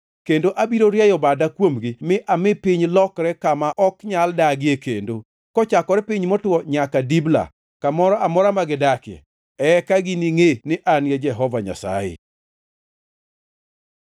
Kendo abiro rieyo bada kuomgi mi ami piny lokre kama ok nyal dagie kendo, kochakore piny motwo nyaka Dibla, kamoro amora ma gidakie. Eka giningʼe ni An e Jehova Nyasaye.’ ”